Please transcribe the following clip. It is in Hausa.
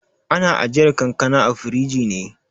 Ana ajiyar kankana a firiji ne.